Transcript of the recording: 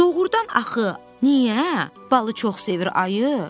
Doğrudan axı niyə balı çox sevir ayı?